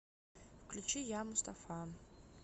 включи я мустафа